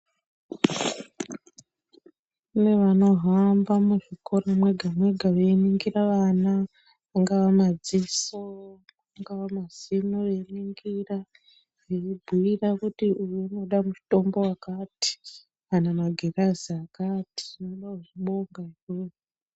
Kune vanohamba muzvikora mwega mwega veiningira vana, kungava madziso, kungava mazino veiringira eibhuira kuti uyu unoda mutombo wakati kana magirazi akati, toda kuzvibonga izvozvo.